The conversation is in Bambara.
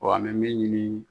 Wa an bɛ min ɲini